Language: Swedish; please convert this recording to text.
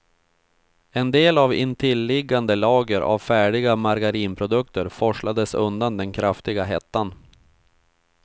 En del av intilliggande lager av färdiga margarinprodukter forslades undan den kraftiga hettan.